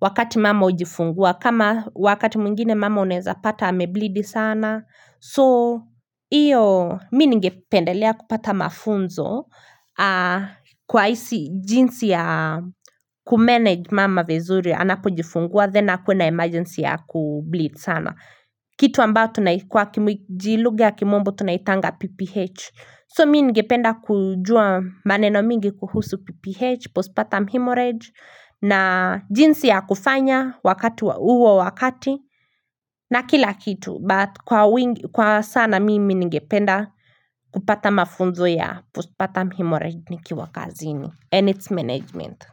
wakati mama hujifungua kama wakati mwingine mama unaeza pata ame bleed sana so Iyo mimi ningependelea kupata mafunzo Kwa isi jinsi ya kumanage mama vizuri Anapojifungua then akuwe na emergency ya kubleed sana Kitu ambao tunai kwa kijilugha ya kimombo tunaitanga PPH So mimi ningependa kujua maneno mingi kuhusu PPH Postpartum hemorrhage na jinsi ya kufanya wakati wa uo wakati na kila kitu But kwa wingi kwa sana mimi nigependa kupata mafunzo ya Postpartum hemorrhage nikiwa kazini and it's management.